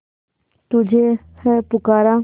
तुझे है पुकारा